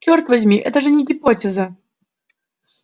чёрт возьми это же не гипотеза